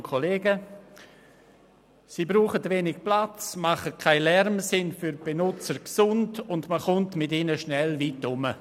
Sie brauchen wenig Platz, machen keinen Lärm, sind für die Benutzer gesund, und man kommt mit ihnen schnell weit herum.